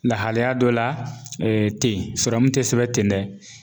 Lahalaya dɔ la ten sɔrɔmu tɛ sɛbɛn tɛ dɛ.